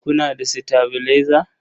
Kuna da sitabilaiza?